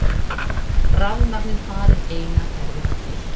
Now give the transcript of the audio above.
Rafmagnið farið eina ferðina til.